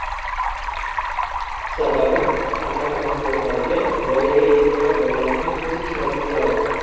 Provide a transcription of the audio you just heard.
Sababi, tamaki mahsulotlariga voyaga yetmagan bolalarning ko‘zi tushmasligi lozim.